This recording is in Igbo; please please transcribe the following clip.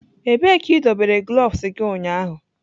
Ebee ka idobere gloves gị ụnyaahụ?